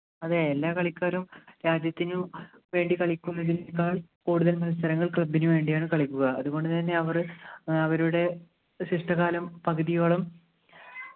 അതെ എല്ലാ കളിക്കാരും രാജ്യത്തിനും വേണ്ടി കളിക്കുന്നതിനേക്കാൾ കൂടുതൽ മത്സരങ്ങൾ club നു വേണ്ടിയാണ് കളിക്കുക അതുകൊണ്ട് തന്നെ അവർ അവരുടെ ശിഷ്ടകാലം പകുതിയോളം